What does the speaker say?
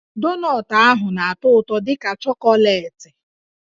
Donọtụ ahụ na-atọ dị ka chọkọleetị